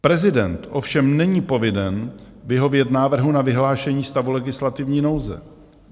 Prezident ovšem není povinen vyhovět návrhu na vyhlášení stavu legislativní nouze.